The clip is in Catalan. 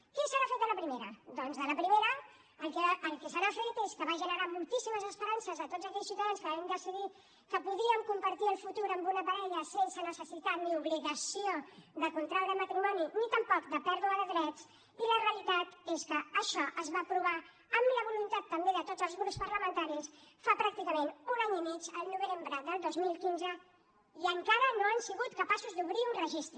què se n’ha fet de la primera doncs de la primera el que se n’ha fet és que va generar moltíssimes esperances a tots aquells ciutadans que vam decidir que podíem compartir el futur amb una parella sense necessitat ni obligació de contraure matrimoni ni tampoc de pèrdua de drets i la realitat és que això es va aprovar amb la voluntat també de tots els grups parlamentaris fa pràcticament un any i mig el novembre del dos mil quinze i encara no han sigut capaços d’obrir un registre